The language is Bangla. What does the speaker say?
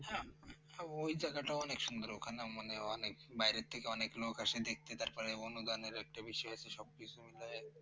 হ্যাঁ ওই জায়গাটা অনেক সুন্দর ওখানে। মানে অনেক বাইরে থেকে অনেক লোক আছে দেখতে তারপরে অনুদানের একটা বিষয় আছে সবকিছুই মিলে